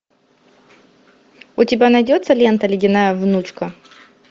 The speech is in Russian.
у тебя найдется лента ледяная внучка